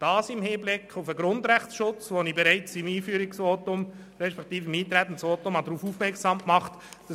Ich bitte Sie, dies auch im Hinblick auf den Grundrechtsschutz zu tun, auf den ich bereits in meinem Eintretensvotum aufmerksam gemacht habe.